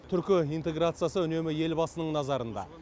түркі интеграциясы үнемі елбасының назарында